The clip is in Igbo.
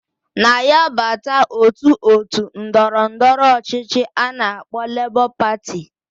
Na ya bata otu otu ndọrọ ndọrọ ọchịchị ana akpo Labour Party.